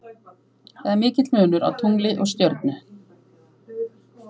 Það er mikill munur á tungli og stjörnu.